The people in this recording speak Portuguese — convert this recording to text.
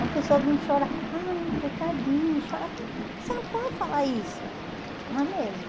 Uma pessoa vem e chora, ai coitadinha, e chora, você não pode falar isso, não é mesmo?